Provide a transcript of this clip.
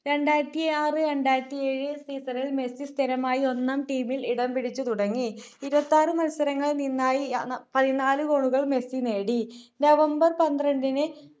രാണ്ടായിരത്തിആറ് രണ്ടായിരത്തി ഏഴ് season ൽ മെസ്സി സ്ഥിരമായി ഒന്നാം team ൽ ഇടംപിടിച്ചു തുടങ്ങി ഇരുപത്തിആറ് മത്സരങ്ങളിൽ നിന്നായി ഏർ പതിനാല് goal കൾ മെസ്സി നേടി november പന്ത്രത്തിന്